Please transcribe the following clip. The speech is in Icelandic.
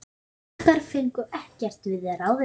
Tékkar fengu ekkert við ráðið.